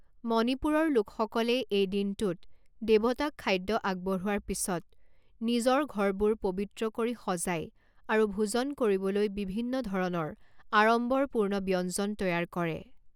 মণিপুৰৰ লোকসকলে এই দিনটোত দেৱতাক খাদ্য আগবঢ়োৱাৰ পিছত নিজৰ ঘৰবোৰ পৱিত্ৰ কৰি সজাই আৰু ভোজন কৰিবলৈ বিভিন্ন ধৰণৰ আড়ম্বৰপূৰ্ণ ব্যঞ্জন তৈয়াৰ কৰে।